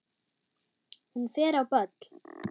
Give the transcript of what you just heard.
Hún fer á böll!